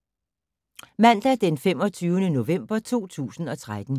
Mandag d. 25. november 2013